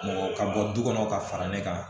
Mɔgɔ ka bɔ du kɔnɔ ka fara ne kan